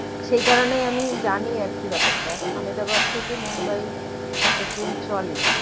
সেই কারণেই আমি জানি আরকি ব্যাপারটা আমেদাবাদ থেকে মুম্বাই একটা ট্রেন চলে